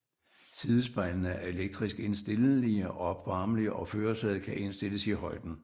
Sidespejlene er elektrisk indstillelige og opvarmelige og førersædet kan indstilles i højden